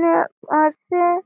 নে পাশে --